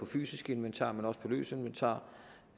fysisk inventar men også om løst inventar